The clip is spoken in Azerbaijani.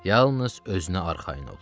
Yalnız özünə arxayın ol, oxu.